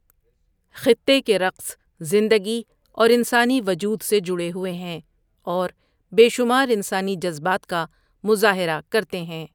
خطے کے رقص زندگی اور انسانی وجود سے جڑے ہوئے ہیں اور بے شمار انسانی جذبات کا مظاہرہ کرتے ہیں۔